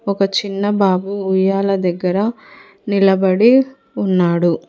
ఒక చిన్న బాబు ఉయ్యాల దగ్గర నిలబడి ఉన్నాడు.